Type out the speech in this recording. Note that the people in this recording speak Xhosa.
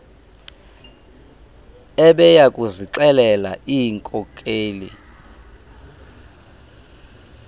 ebeya kuzixelela iinkokeli